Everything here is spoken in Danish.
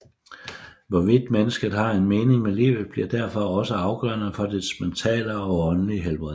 Hvorvidt mennesket har en mening med livet bliver derfor også afgørende for dets mentale og åndelige helbred